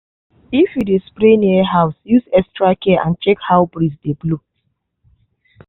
if you dey spray near house use extra care and check how breeze dey blow